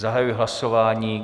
Zahajuji hlasování.